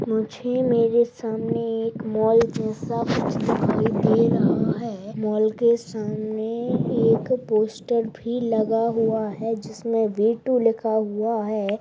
मुझे मेरे सामने एक मॉल जैसा कुछ दिखाई दे रहा है मॉल के सामने एक पोस्टर भी लगा हुआ है जिसमे वी टू लिखा हुआ है।